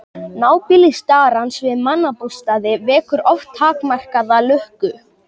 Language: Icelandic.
Nábýli starans við mannabústaði vekur oft takmarkaða lukku.